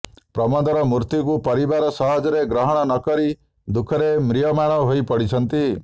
ପ୍ରମୋଦର ମୃତ୍ୟୁକୁ ପରିବାର ସହଜରେ ଗ୍ରହଣ ନ କରି ଦୁଃଖରେ ମ୍ରିୟମାଣ ହୋଇ ପଡିଛନ୍ତି